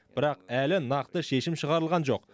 бірақ әлі нақты шешім шығарылған жоқ